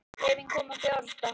Hreyfing komin á fjárfesta